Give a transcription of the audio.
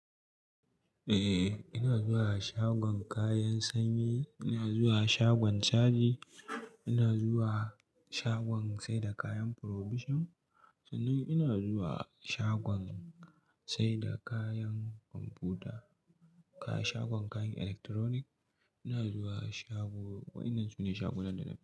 Eh, ina zuwa shagon kayan sanyi, ina zuwa shagon caji, ina zuwa shagon sai da kayan provision. Sannan ina zuwa shagon sai da kayan kwamfuta, shagon kayan electronic. Ina zuwa shago, waɗannan su ne shagunan da na fi.